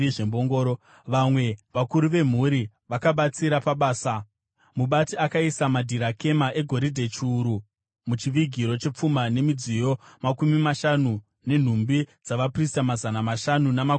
Vamwe vakuru vemhuri vakabatsira pabasa. Mubati akaisa madhirakema egoridhe chiuru muchivigiro chepfuma nemidziyo makumi mashanu nenhumbi dzavaprista mazana mashanu namakumi matatu.